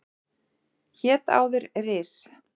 Hét áður Ris